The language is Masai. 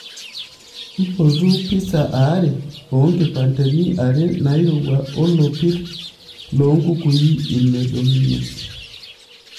mpotu pizza aare oo kipandeni are nairowua olopir lo nkukui ine dominoes